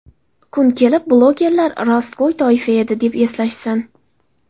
Kun kelib blogerlar rostgo‘y toifa edi, deb eslashsin.